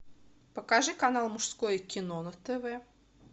покажи канал мужское кино на тв